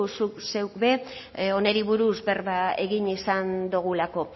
zuk zeuk ere hori buruz berba egin izan dugulako